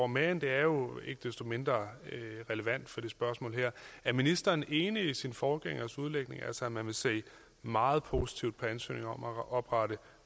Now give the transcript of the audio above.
men det er jo ikke desto mindre relevant for det spørgsmål her er ministeren enig i sin forgængeres udlægning altså at man vil se meget positivt på ansøgninger om at oprette